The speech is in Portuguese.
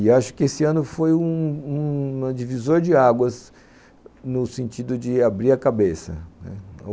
E acho que esse ano foi um um... divisor de águas no sentido de abrir a cabeça, né